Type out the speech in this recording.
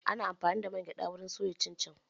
Ana amfani da man gyada wurin soya cin cin.